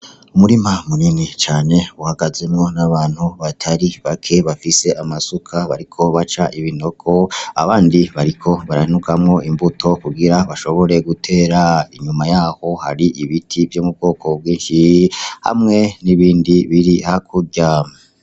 Umurima munini cane uhagazemwo n'abantu batari bake bafis'amasuka bariko baca ibinogo, abandi bariko baranugamwo imbuto kugirango bashobore gutera. Inyuma yaho har'ibiti vyo m'ubwoko bwinshi, hamwe n'ibindi biri hakurya.